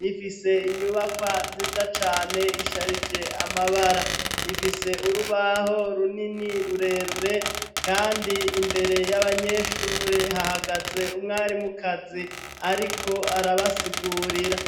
rifise inyubakwa nziza cane isharije amabara rifise urubaho runini rurerure, kandi imbere y'abanyeshure hahagaze umwarimukazi, ariko arabasiguwa urira.